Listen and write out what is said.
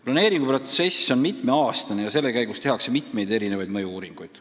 Planeeringu protsess kestab mitu aastat ja selle käigus tehakse mitmeid erinevaid mõju-uuringuid.